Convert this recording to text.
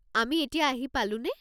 আমি এতিয়া আহি পালোনে?